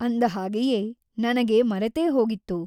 ಅಂದ ಹಾಗೆಯೇ ನನಗೆ ಮರೆತೇ ಹೋಗಿತ್ತು.